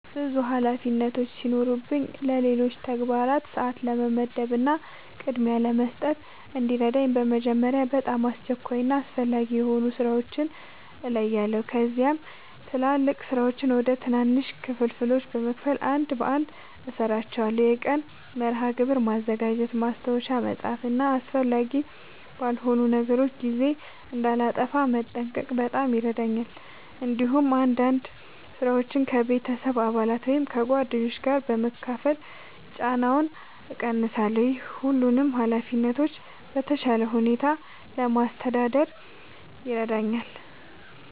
ብዙ ኃላፊነቶች ሲኖሩኝ ለሌሎች ተግባራት ሰአት ለመመደብ እና ቅድሚያ ለመስጠት እንዲረዳኝ በመጀመሪያ በጣም አስቸኳይ እና አስፈላጊ የሆኑ ሥራዎችን እለያለሁ። ከዚያም ትላልቅ ሥራዎችን ወደ ትናንሽ ክፍሎች በመከፋፈል አንድ በአንድ እሠራቸዋለሁ። የቀን መርሃ ግብር ማዘጋጀት፣ ማስታወሻ መጻፍ እና አስፈላጊ ባልሆኑ ነገሮች ጊዜ እንዳላጠፋ መጠንቀቅ በጣም ይረዳኛል። እንዲሁም አንዳንድ ሥራዎችን ከቤተሰብ አባላት ወይም ከጓደኞች ጋር በመካፈል ጫናውን እቀንሳለሁ። ይህ ሁሉንም ኃላፊነቶች በተሻለ ሁኔታ ለማስተዳደር ይረዳኛል።